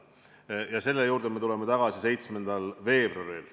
Me tuleme selle juurde tagasi 7. veebruaril.